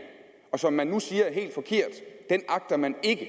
og som man nu siger er helt forkert agter man ikke at